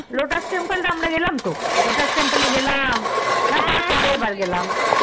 lotus temple এ আমরা গেলাম তো lotus temple আমরা গেলাম বার বার গেলাম